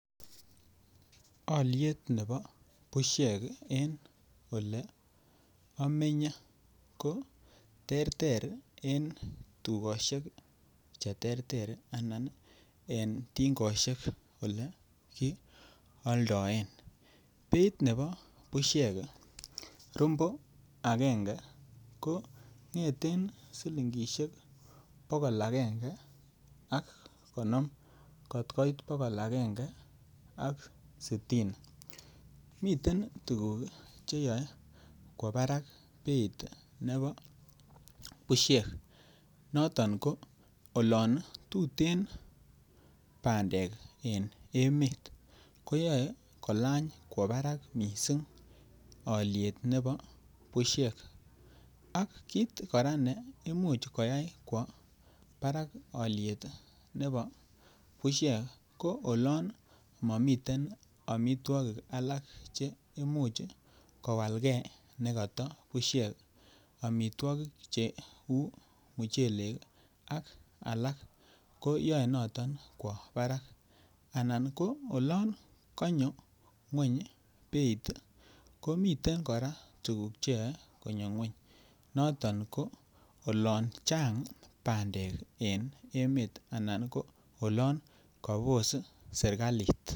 Alyet nebo busyek en Ole amenye ko terter ko en tugosiek Che terter anan ko tingosiek Ole kialdaen beit nebo busiek rombo agenge ko ngeten silingisiek bogol agenge ak konom kot koit bogol agenge ak sitini miten tuguk Che yoe kwo barak alyet ab busiek noton ko olon tuten bandek en emet koyoe kolany alyet nebo busyek ak kit kora ne Imuch koyai kwo barak alyet nebo busiek ko olon momiten amitwogik alak Che Imuch kowalge nekata busiek amitwogik cheu muchelek ak alak ko yoe noton kwo barak anan ko oloon konyo ngwony beit ko miten kora tuguk Che yoe konyo ngwony noton ko olon Chang bandek en emet anan ko olon kobos serkalit